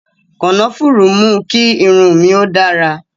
Kànáfùrú mú kí irun mi ó dára